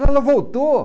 Ela voltou.